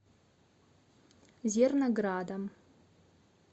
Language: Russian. зерноградом